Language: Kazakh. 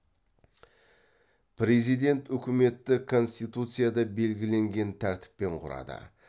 президент үкіметті конституцияда белгіленген тәртіппен құрады